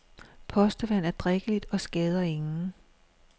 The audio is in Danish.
Postevand er drikkeligt og skader ingen.